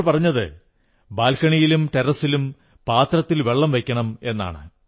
അവർ പറഞ്ഞത് ബാൽക്കണിയിലും ടെറസ്സിലും പാത്രത്തിൽ വെള്ളം വയ്ക്കണമെന്നാണ്